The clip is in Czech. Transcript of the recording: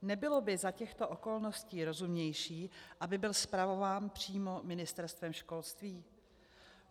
Nebylo by za těchto okolností rozumnější, aby byl spravován přímo Ministerstvem školství?